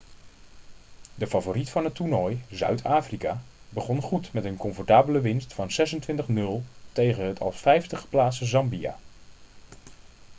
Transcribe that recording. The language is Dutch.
de favoriet van het toernooi zuid-afrika begon goed met een comfortabele winst van 26 - 00 tegen het als 5e geplaatste zambia